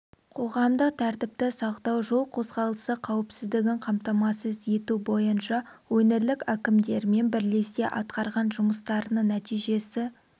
қоғамдық тәртіпті сақтау жол қозғалысы қауіпсіздігін қамтамасыз ету бойынша өңірлік әкімдерімен бірлесе атқарған жұмыстарының нәтижесі